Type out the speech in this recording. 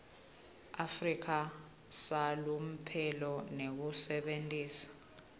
afrika salomphelo ngekusebentisa